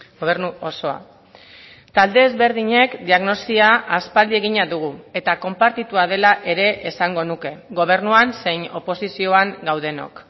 gobernu osoa talde ezberdinek diagnosia aspaldi egina dugu eta konpartitua dela ere esango nuke gobernuan zein oposizioan gaudenok